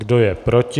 Kdo je proti?